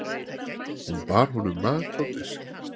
Hún bar honum mat á disk.